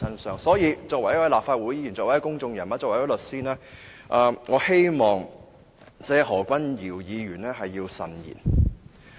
所以，作為一位立法會議員、公眾人物及律師，我希望何議員慎言。